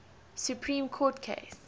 supreme court case